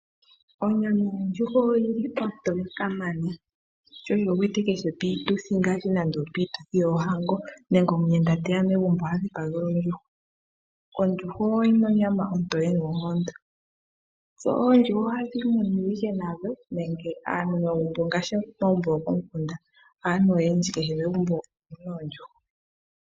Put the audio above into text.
Onyama yondjuhwa oyo yili ontoye kamana, sho wuyi wete kehe piituthi ngaashi nande opiituthi yoohango nenge omuyenda teya megumbo oha dhipagelwa ondjuhwa. Ondjuhwa oyina onyama ontoye noonkondo, dho oondjuhwa ohadhi munwa ike nadho nenge aantu ngaashi omagumbo gokomukunda aantu kehe megumbo omuna oondjuhwa.